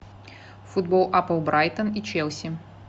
футбол апл брайтон и челси